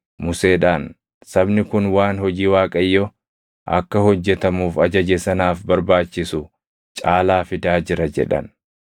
Museedhaan, “Sabni kun waan hojii Waaqayyo akka hojjetamuuf ajaje sanaaf barbaachisu caalaa fidaa jira” jedhan.